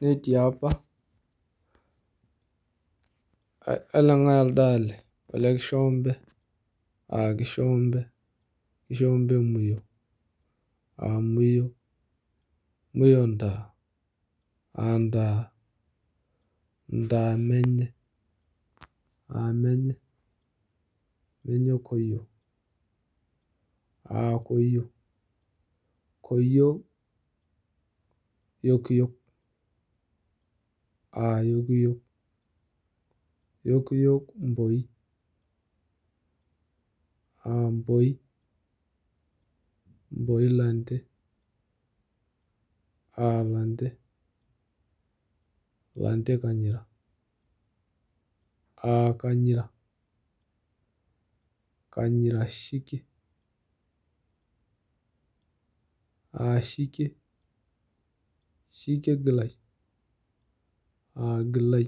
Netii apa, kaleng'ai elde ale? Ole kishombe. Ah kishombe? Kishombe muyo. Ah muyo? muyo ntaa. Ah ntaa? Ntaa menye. Ah menye? Menye koyio. Ah koyio? Koyio yokiyok. Ah yokiyok? Yokiyok mboi. Ah mboi? Mboi lante. Ah lante? Lante kanyira. Ah kanyira? Kanyira shikie. Ah shikie? Shikie gilai. Ah gilai?